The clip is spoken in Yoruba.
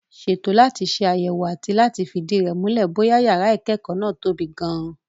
Ṣètò láti ṣe àyẹ̀wò àti láti fìdí rẹ̀ múlẹ̀ bóyá yàrá ìkẹ́kọ̀ọ́ náà tóbi gan-an.